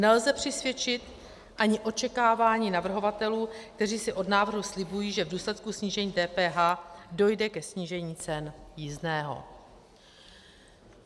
Nelze přisvědčit ani očekávání navrhovatelů, kteří si od návrhu slibují, že v důsledku snížení DPH dojde ke snížení cen jízdného.